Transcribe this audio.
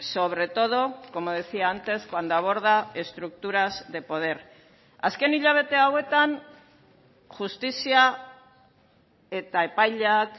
sobre todo como decía antes cuando aborda estructuras de poder azken hilabete hauetan justizia eta epaileak